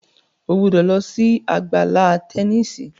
o gbó ló sì Àgbàlá Tẹníìsì!